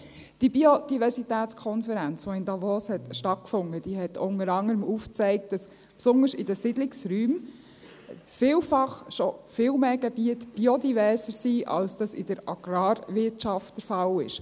Diese Biodiversitätskonferenz, die in Davos stattfand, hat unter anderem aufgezeigt, dass besonders in den Siedlungsräumen vielfach schon viel mehr Gebiete biodiverser sind, als das in der Agrarwirtschaft der Fall ist.